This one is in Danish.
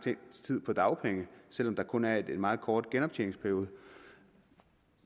tid på dagpenge selv om der kun er en meget kort genoptjeningsperiode